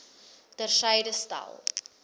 ter syde stel